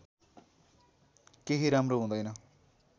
कोही राम्रो हुँदैन